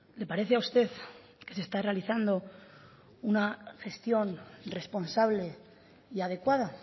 le parece a usted que se está realizando una gestión responsable y adecuada